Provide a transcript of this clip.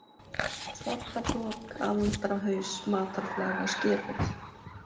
Svartabrok, Andrahaus, Matarflaga, Skerhóll